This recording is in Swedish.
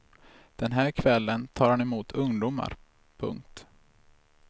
Den här kvällen tar han emot ungdomar. punkt